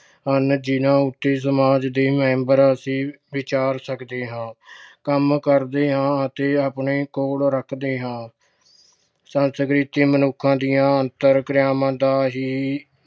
ਹਨ ਜਿਹਨਾਂ ਉਤੇ ਸਮਾਜ ਦੇ member ਅਸੀਂ ਵਿਚਾਰ ਸਕਦੇ ਹਾਂ, ਕੰਮ ਕਰਦੇ ਹਾਂ ਅਤੇ ਆਪਣੇ ਕੋਲ ਰੱਖਦੇ ਹਾਂ। ਸੰਸਕ੍ਰਿਤੀ ਮਨੁੱਖਾਂ ਦੀਆਂ ਅੰਤਰ ਕਿਰਿਆਵਾਂ ਦਾ ਹੀ